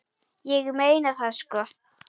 Ég meina það sko.